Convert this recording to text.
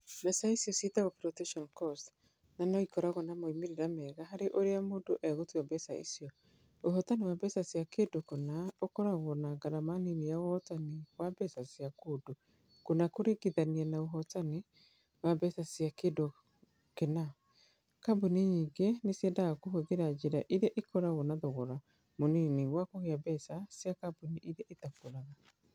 Mbeca icio ciĩtagwo 'floatation costs' na no ikorũo na moimĩrĩro mega harĩ ũrĩa mũndũ egũtua mbeca icio. Ũhotani wa mbeca cia kĩndũ kĩna ũkoragwo na ngarama nini ya ũhotani wa mbeca cia kĩndũ kĩna kũringithanio na ũhotani wa mbeca cia kĩndũ kĩna. Kambuni nyingĩ nĩ ciendaga kũhũthĩra njĩra ĩrĩa ĩkoragwo na thogora mũnini wa kũiga mbeca cia kambuni iria itakũraga.